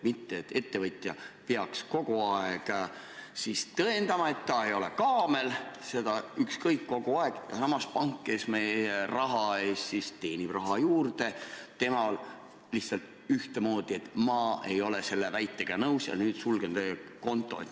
Mitte nii, et ettevõtja peab kogu aeg tõestama, et ta ei ole kaamel, ja samas pangal, kes teenib meie raha eest raha juurde, on lihtsalt ühtemoodi: ma ei ole selle väitega nõus ja nüüd sulgen teie konto.